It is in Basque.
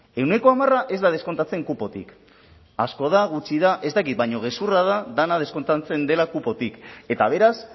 ehuneko hamara ez da deskontatzen kupotik asko da gutxi da ez dakit baina gezurra da dena deskontatzen dela kupotik eta beraz